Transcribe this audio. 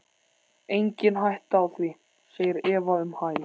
Engin hætta á því, segir Eva um hæl.